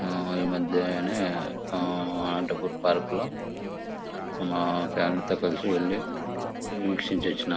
అహ్హ్ ఏ మధ్యనే అహ్హ్ ఉంటాపురి పాలకులు అహ్హ్ ఫామిలీ తో కలిసి వెళ్ళి వీక్షించి వచ్చినం.